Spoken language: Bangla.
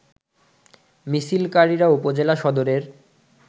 মিছিলকারিরা উপজেলা সদরের